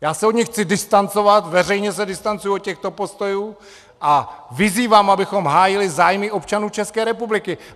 Já se od nich chci distancovat, veřejně se distancuji od těchto postojů a vyzývám, abychom hájili zájmy občanů České republiky.